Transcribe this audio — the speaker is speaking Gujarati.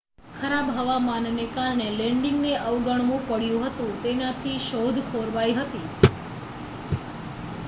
ખરાબ હવામાનને કારણે લેન્ડિંગને અવગણવું પડ્યું હતું તેનાથી શોધ ખોરવાઈ હતી